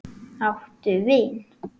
Áttu vin?